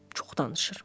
Çox danışır.